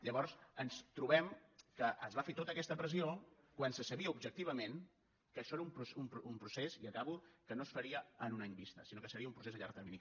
llavors ens trobem que es va fer tota aquesta pressió quan se sabia objectivament que això era un procés i acabo que no es faria a un any vista sinó que seria un procés a llarg termini